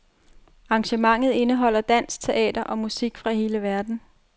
Arrangementet indeholder dans, teater og musik fra hele verden.